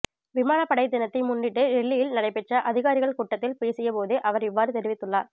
விமானப்படை தினத்தை முன்னிட்டு டெல்லியி்ல் நடைபெற்ற அதிகாரிகள் கூட்டத்தில் பேசிய போதே அவர் இவ்வாறு தெரிவித்துள்ளார்